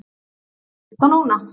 Líkt og núna.